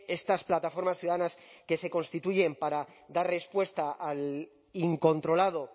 estas plataformas ciudadanas que se constituyen para dar respuesta al incontrolado